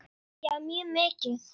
Já mjög mikið.